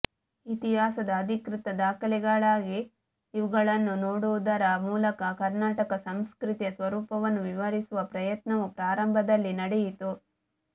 ಇತಿಹಾಸದ ಅಧಿಕೃತ ದಾಖಲೆಗಾಗಿ ಇವುಗಳನ್ನು ನೋಡುವುದರ ಮೂಲಕ ಕರ್ನಾಟಕ ಸಂಸ್ಕೃತಿಯ ಸ್ವರೂಪವನ್ನು ವಿವರಿಸುವ ಪ್ರಯತ್ನವೂ ಪ್ರಾರಂಭದಲ್ಲಿ ನಡೆಯಿತು